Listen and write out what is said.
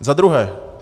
Za druhé.